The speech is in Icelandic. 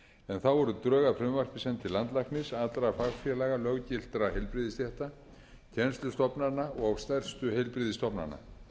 en þá voru drög að frumvarpi send til landlæknis allra fagfélaga löggiltra heilbrigðisstétta kennslustofnana og stærstu heilbrigðisstofnana